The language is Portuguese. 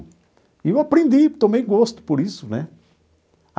E eu aprendi, tomei gosto por isso né.